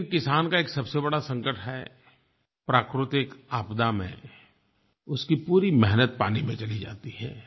लेकिन किसान का एक सबसे बड़ा संकट है प्राकृतिक आपदा में उसकी पूरी मेहनत पानी में चली जाती है